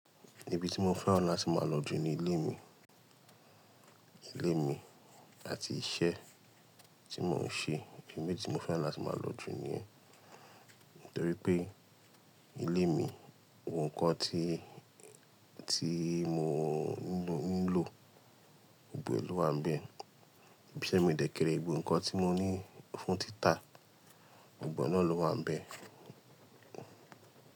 Ibi tí mo fẹ́ràn láti máa lọ jù ni ilé mi. Ilé mi àti iṣẹ́ tí mò ń ṣe, imi tí mo fẹ́ràn láti máa lọ jù nìyẹn. Nítorí pé ilé mi, ohun kan tí, tí mo nílò, gbogbo è ló wà nbẹ̀. Iṣẹ́ mi dẹ́kẹrẹ, gbogbo nǹkan tí mo ní fún títà, gbogbo è náà ló wà nbẹ̀.